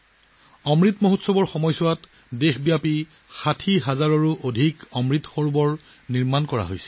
অমৃত মহোৎসৱৰ সময়ত সমগ্ৰ দেশতে ৬০ হাজাৰতকৈ অধিক অমৃত সৰোবৰ নিৰ্মাণ কৰা হৈছে